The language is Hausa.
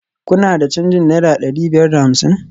Kuna da canjin naira dari biyar da hamsin?